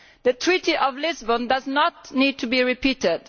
The Treaty of Lisbon does not need to be repeated.